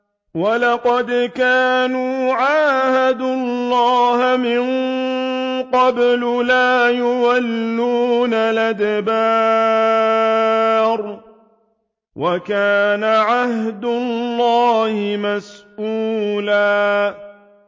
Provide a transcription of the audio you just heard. وَلَقَدْ كَانُوا عَاهَدُوا اللَّهَ مِن قَبْلُ لَا يُوَلُّونَ الْأَدْبَارَ ۚ وَكَانَ عَهْدُ اللَّهِ مَسْئُولًا